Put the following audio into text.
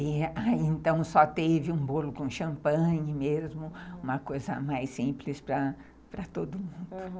e então só teve um bolo com champanhe mesmo, uma coisa mais simples para todo mundo, aham.